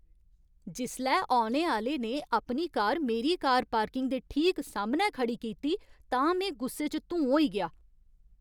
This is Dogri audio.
जिसलै औने आह्‌ले ने अपनी कार मेरी कार पार्किंग दे ठीक सामनै खड़ी कीती तां में गुस्से च धूं होई गेआ।